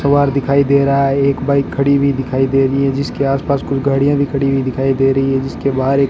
दिखाई दे रहा है एक बाइक खड़ी हुई दिखाई दे रही है जिसके आसपास कोई गाड़ियां भी खड़ी हुई दिखाई दे रहीं हैं जिसके बाहर एक --